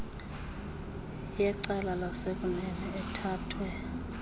yecala lasekunene ethathwe